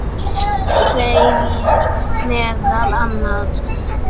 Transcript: segir meðal annars